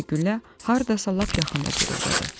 Həm də güllə hardasa lap yaxında guruldadı.